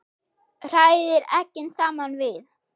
Hrærið eggin saman við.